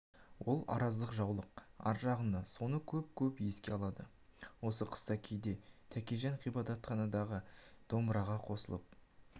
ол араздық жаулық ар жағында соны көп-көп еске алады осы қыста кейде тәкежан ғабитхандарға домбыраға қосылып